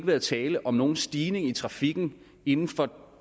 været tale om nogen stigning i trafikken inden for